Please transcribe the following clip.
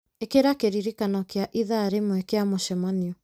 ĩkĩra kĩririkano kĩa ithaa rĩmwe kĩa mũcemanio